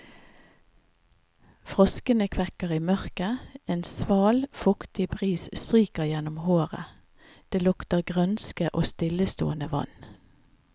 Froskene kvekker i mørket, en sval, fuktig bris stryker gjennom håret, det lukter grønske og stillestående vann.